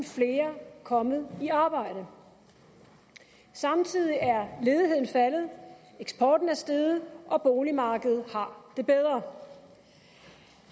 flere kommet i arbejde samtidig er ledigheden faldet eksporten er steget og boligmarkedet har det bedre